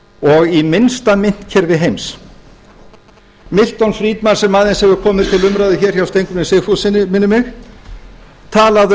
og í minnsta myntkerfi heims milton friedman sem aðeins hefur komið til umræðu hjá steingrími j sigfússyni minnir mig talaði